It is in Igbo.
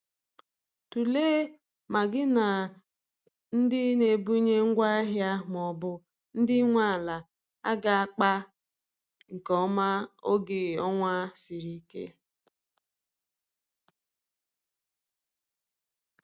Tụlee ma gi na ndi n'ebunye ngwa ahia maọbụ ndi nwe ala aga akpa nke oma oge ọnwa sịrị ike